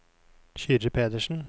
Kyrre Pedersen